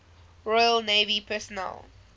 royal navy personnel